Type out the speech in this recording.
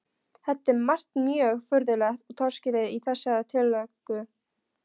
Það er margt mjög furðulegt og torskilið í þessari tillögu.